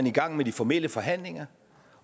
i gang med de formelle forhandlinger